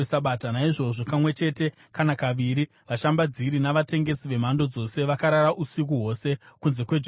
Naizvozvo kamwe chete kana kaviri, vashambadziri navatengesi vemhando dzose vakarara usiku hwose kunze kweJerusarema.